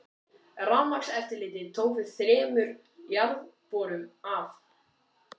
Rafmagnseftirlitið tók við þremur jarðborum af